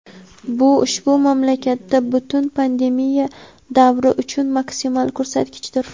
Bu ushbu mamlakatda butun pandemiya davri uchun maksimal ko‘rsatkichdir.